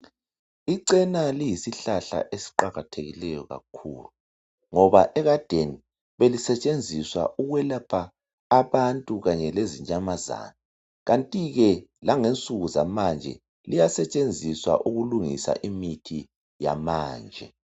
Icena liyi sihlahla esiqakathekileyo kakhulu ngoba ekadeni be lisetshenziswa ukwelapha abantu kanye lezinyamazana, kanti ke langensuku zamanje liyasetshenziswa ukulungisa imithi yamanje.